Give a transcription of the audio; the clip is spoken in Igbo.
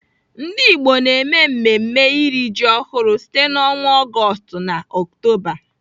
Ndigbo na-eme mmemme iri ji ọhụrụ site n'ọnwa Ọgọọst na Ọktoba.